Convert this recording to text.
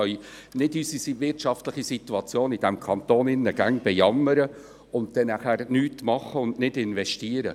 Wir können nicht immer unsere wirtschaftliche Situation in diesem Kanton bejammern und nachher nichts tun und nicht investieren.